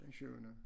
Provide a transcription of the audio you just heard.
Den tyvende